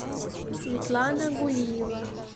светлана гулиева